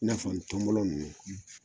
I n'a fɔ ntɔmɔnɔn ninnu